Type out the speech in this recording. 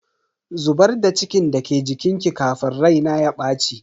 Zubar da cikin da ke jikinki kafin rai na ya baci.